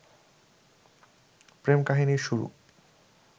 প্রেম-কাহিনীর শুরু